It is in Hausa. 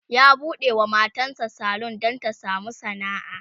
ya buɗewa matan sa salon Dan Ta samu sana'a